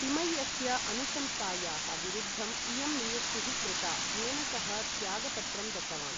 तिमय्यस्य अनुशंसायाः विरुद्धं इयं नियुक्तिः कृता, येन सः त्यागपत्रं दत्तवान्।